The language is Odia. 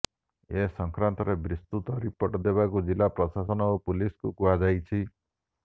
ଏ ସଂକ୍ରାନ୍ତରେ ବିସ୍ତୃତ ରିପୋର୍ଟ ଦେବାକୁ ଜିଲ୍ଲା ପ୍ରଶାସନ ଓ ପୁଲିସ୍କୁ କୁହାଯାଇଛି